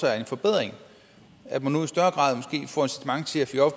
er en forbedring at man nu